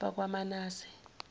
bakwamanase